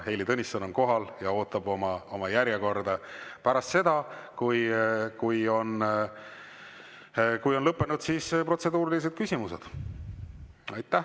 Heili Tõnisson on kohal ja ootab oma järjekorda, pärast seda, kui on lõppenud protseduurilised küsimused.